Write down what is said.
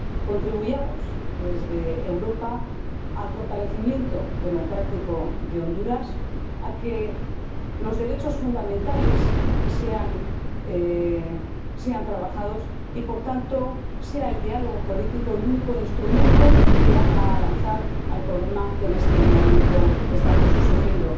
contribuyamos desde Europa al fortalecimiento democrático de Honduras, a que los derechos fundamentales sean trabajados y, por tanto, a que sea el diálogo político el único instrumento que haga avanzar hacia la solución del problema que en este momento estamos sufriendo.